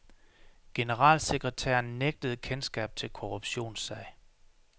Generalsekretæren nægtede kendskab til korruptionssag.